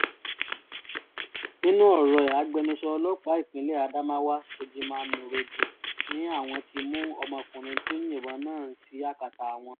nínú ọ̀rọ̀ ẹ̀ agbẹnusọ ọlọ́pàá ìpínlẹ̀ adamawa shojiman nuroje ni àwọn ti mú ọmọkùnrin tó yìnbọn náà sí akátá àwọn